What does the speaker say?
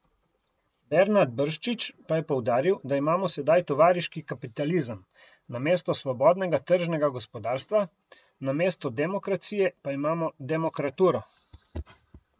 Bernard Brščič pa je poudaril, da imamo sedaj tovariški kapitalizem, namesto svobodnega tržnega gospodarstva, namesto demokracije pa imamo demokraturo.